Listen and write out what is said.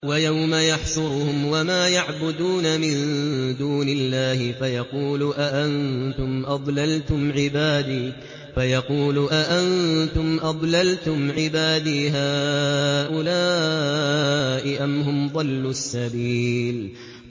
وَيَوْمَ يَحْشُرُهُمْ وَمَا يَعْبُدُونَ مِن دُونِ اللَّهِ فَيَقُولُ أَأَنتُمْ أَضْلَلْتُمْ عِبَادِي هَٰؤُلَاءِ أَمْ هُمْ ضَلُّوا السَّبِيلَ